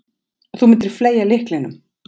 Þú myndir fleygja lyklinum.